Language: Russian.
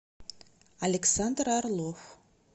александр орлов